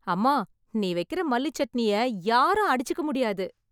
அம்மா நீ வைக்கிறத மல்லி சட்னி யாரும் அடுச்சுக்க முடியாது